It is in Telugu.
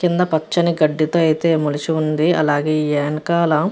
కింద పచ్చని గడ్డితో అయితే మొలిచి ఉంది అలాగే ఏనకాల --